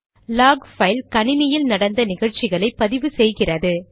lock file கணினியில் நடந்த நிகழ்ச்சிகளை பதிவு செய்கிறது